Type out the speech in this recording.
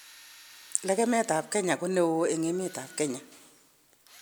Lekemetab Kenya ko neoo eng emetab Kenya